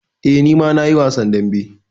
Eh, ni ma na yi wasan dambe.